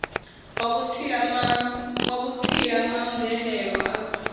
wa vhutsila ma mvelelo arts